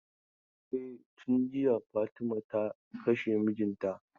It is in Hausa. E, tun jiya Fatima ta kashe mijinta.